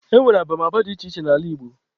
E nwere abamaba dị iche iche n'ala Igbo.